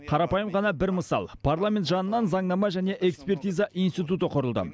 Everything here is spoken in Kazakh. қарапайым ғана бір мысал парламент жанынан заңнама және экспертиза институты құрылды